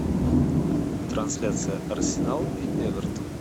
трансляция арсенал и эвертон